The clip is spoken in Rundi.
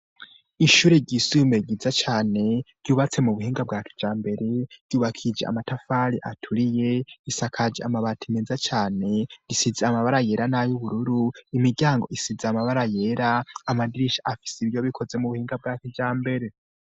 Ishure ryisume ryiza cane, ryubatse mu buhinga bwa kijambere, ryubakije amatafari aturiye, risakaje amabati meza cane, isize amabara yera n'ay'ubururu, imiryango isize amabara yera, amadirisha afise ibiyo bikoze mu buhinga bwa kijambere.